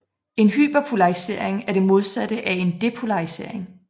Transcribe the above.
En hyperpolarisering er det modsatte af en depolarisering